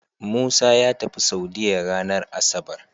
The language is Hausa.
Musa yatafi saudiya ranar asabar